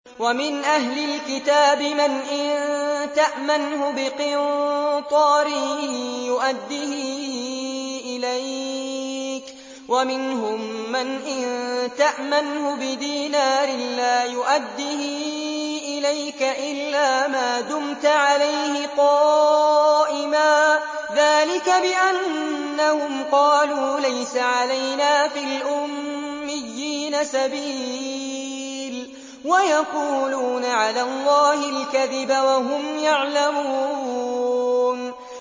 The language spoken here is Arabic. ۞ وَمِنْ أَهْلِ الْكِتَابِ مَنْ إِن تَأْمَنْهُ بِقِنطَارٍ يُؤَدِّهِ إِلَيْكَ وَمِنْهُم مَّنْ إِن تَأْمَنْهُ بِدِينَارٍ لَّا يُؤَدِّهِ إِلَيْكَ إِلَّا مَا دُمْتَ عَلَيْهِ قَائِمًا ۗ ذَٰلِكَ بِأَنَّهُمْ قَالُوا لَيْسَ عَلَيْنَا فِي الْأُمِّيِّينَ سَبِيلٌ وَيَقُولُونَ عَلَى اللَّهِ الْكَذِبَ وَهُمْ يَعْلَمُونَ